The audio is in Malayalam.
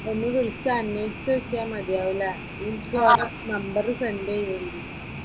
ഒന്ന് വിളിച്ച് അന്വേഷിച്ച് നോക്കിയാ മതിയാകും അല്ലേ, നിക്ക് അവരുടെ നമ്പറ് സെൻറ് ചെയ്ത് തരി.